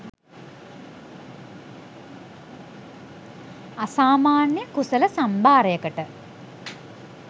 අසාමාන්‍ය කුසල සම්භාරයකට